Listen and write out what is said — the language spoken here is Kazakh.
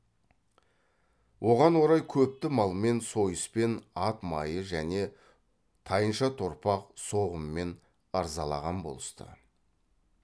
оған орай көпті малмен сойыспен ат майы және тайынша торпақ соғыммен ырзалаған болысты